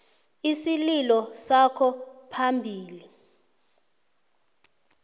isililo sakho phambili